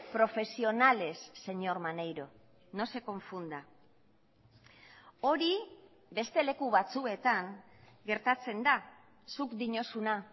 profesionales señor maneiro no se confunda hori beste leku batzuetan gertatzen da zuk diozuna